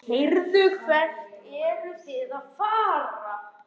Heyrðu, hvert eruð þið að fara?